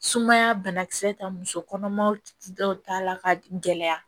Sumaya banakisɛ ta musokɔnɔmaw dɔw ta la ka gɛlɛya